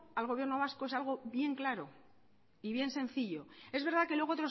al gobierno vasco es algo bien claro y bien sencillo es verdad que luego